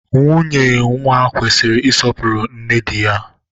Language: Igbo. Nwunye nwa kwesịrị isọpuru nne dị ya